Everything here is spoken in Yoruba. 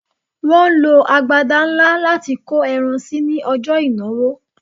Wọ́n lo agbada ńlá láti kó ẹran sí ní ọjọ́ ìnáwó